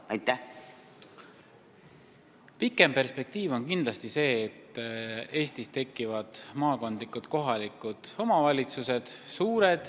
Kaugem perspektiiv on see, et Eestis tekivad suured maakondlikud kohalikud omavalitsused.